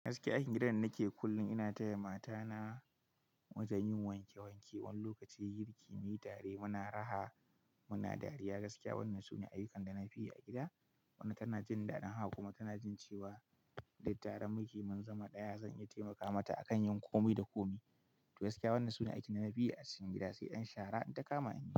Gaskiya aikin gidan da nake kullum ina taya mata na wajen yin wanke wanke, wani lokaci girki, muyi tare muna raha muna dariya. Gaskiya wannan sune ayyukan da na fi yi a gida. Wannan tana jin dadin haka kuma tana jin cewa duk tare muke, mun zama ɗaya zan iya taimaka mata akan yin komai da komai. To gaskiya wannan sune aiki da na fi yi a cikin gida, sai ɗan shara in ta kama ni.